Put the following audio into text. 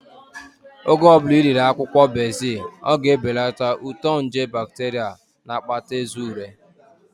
Oge ọbụla ị riri akwụkwọ bezil, ọ ga-ebelata uto nje bakteria na-akpata eze ure